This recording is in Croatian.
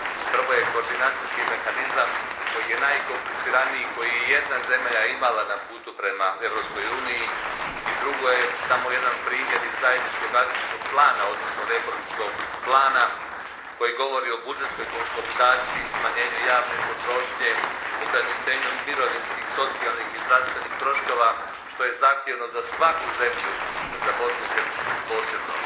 Prvo je koordinacijski mehanizam, koji je najkompliciraniji koji je ijedna zemlja imala na putu prema Europskoj uniji, a drugo je samo jedan primjer iz zajedničkog akcijskog plana, odnosno reformskog plana koji govori o budžetskoj konsolidaciji, smanjenju javne potrošnje, ograničenju mirovinskih, socijalnih i zdravstvenih troškova što je zahtjevno za svaku zemlju, a za Bosnu i Hercegovinu posebno.